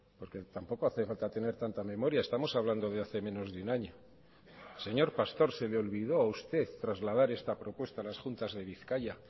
porque tampoco hace falta tener tanta memoria estamos hablando de hace menos de un año señor pastor se le olvidó a usted trasladar esta propuesta a las juntas de bizkaia